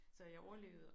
Så jeg overlevede